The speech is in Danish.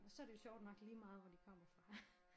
Og så er det jo sjovt nok ligemeget hvor de kommer fra